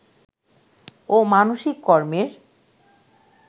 ও মানসিক কর্মের